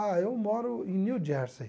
Ah, eu moro em New Jersey.